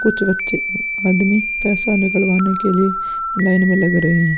कुछ बच्चे आदमी पैसा निकलवाने के लिए लाइन में लग रहे हैं।